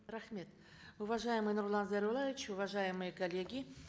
рахмет уважаемый нурлан зайроллаевич уважаемые коллеги